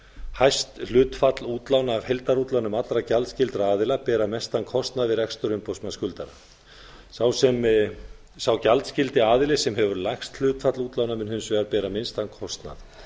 hæst hlutfall útlána af heildarútlánum allra gjaldskyldra aðila bera mestan kostnað við rekstur umboðsmanns skuldara sá gjaldskyldi aðili sem hefur lægst hlutfall útlána mun hins vegar bera minnstan kostnað